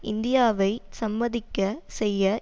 இந்தியாவை சம்மதிக்கச் செய்ய